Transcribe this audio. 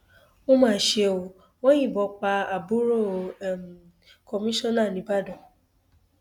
ó mà ṣe ó wọn yìnbọn pa àbúrò um kọmíṣánná níìbàdàn